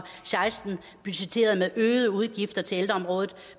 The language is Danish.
seksten budgetteret med øgede udgifter til ældreområdet